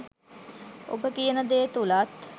ඔබ කියන දේ තුලත්